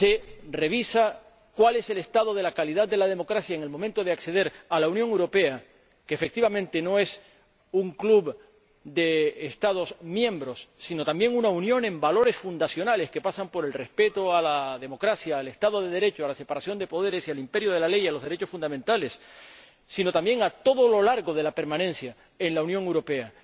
Se revisa cuál es el estado de la calidad de la democracia en el momento de acceder a la Unión Europea —que, efectivamente, no es un club de Estados miembros, sino también una unión de valores fundacionales, que pasan por el respeto a la democracia, al Estado de Derecho, a la separación de poderes, al imperio de la ley y a los derechos fundamentales— sino también a lo largo de la permanencia en la Unión Europea.